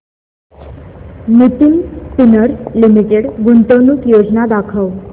Nitin spinners limited गुंतवणूक योजना दाखव